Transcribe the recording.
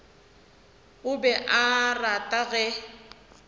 o be a rata ge